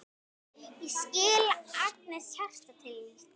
Ég skil angist hjarta þíns